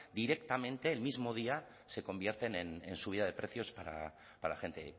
directamente el mismo día se convierte en subida de precios para gente